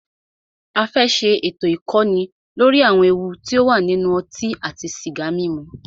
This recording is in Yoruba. A fẹ́ ṣé ètò ìkọ́ni lóri àwọn ewu ti o wà nínú ọtí àti sìgá mímu.